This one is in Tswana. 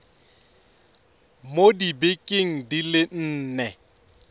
mo dibekeng di le nne